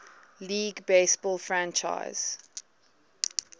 league baseball franchise